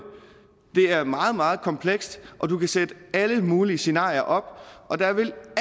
det er meget meget komplekst og du kan sætte alle mulige scenarier op og der vil